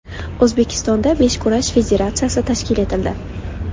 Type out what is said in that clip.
O‘zbekistonda beshkurash federatsiyasi tashkil etildi.